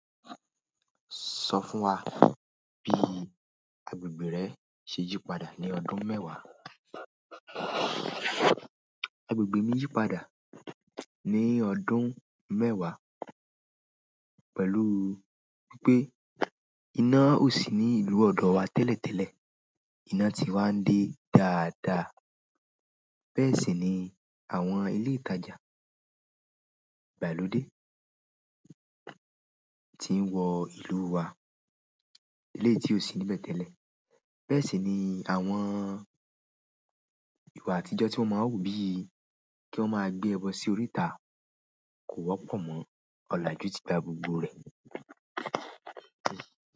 Sọ fún wa bí agbègbè rẹ ṣe yípadà ní ọdún mẹ́wa. Agbègbè mi yípadà ní ọdún mewa pẹ̀lú wípé iná ò sí ní ìlú ọ̀dọ̀ wa tẹ́lẹ̀tẹ́lẹ̀. Iná ti wá ń dé dáadáa. Bẹ́ẹ̀ sì ni àwọn ilé ìtajà ìgbàlódé tí ń wọ ìlú wa eleyi tí ò sí níbẹ̀ tẹ́lẹ̀. Bẹ́ẹ̀ sì ni àwọn ìwà àtijọ́ tí wọ́n máa ń wù bí i kí wọ́n máa gbé ebo sí oríta kò wọ́pọ̀ mọ ọlajú tí gba gbogbo rẹ̀.